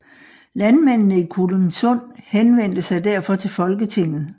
Landmændene i Kolindsund henvendte sig derfor til Folketinget